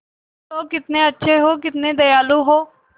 तुम लोग कितने अच्छे हो कितने दयालु हो